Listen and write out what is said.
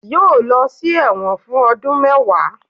yóò lọ sí ẹwọ́n fun ọdun mẹwa